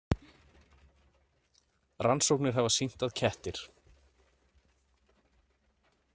Rannsóknir hafa sýnt að kettir.